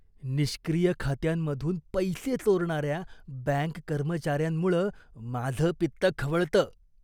निष्क्रिय खात्यांमधून पैसे चोरणाऱ्या बँक कर्मचाऱ्यांमुळं माझं पित्त खवळतं.